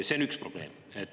See on üks probleem.